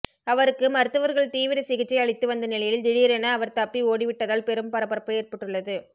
அவருக்கு மருத்துவர்கள் தீவிர சிகிச்சை அளித்து வந்த நிலையில் திடீரென அவர் தப்பி ஓடிவிட்டதால் பெரும் பரபரப்பு ஏற்பட்டுள்ளது